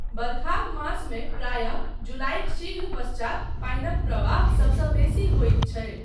बरखाक मासमे प्रायः जुलाइक शीघ्र पश्चात पानिक प्रवाह सबसँ बेसी होइत छै।